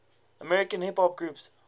american hip hop groups